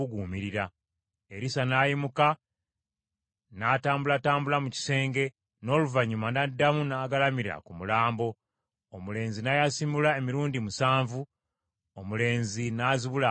Erisa n’ayimuka, n’atambulatambula mu kisenge, n’oluvannyuma n’addamu n’agalamira ku mulambo. Omulenzi n’ayasimula emirundi musanvu, omulenzi n’azibula amaaso ge.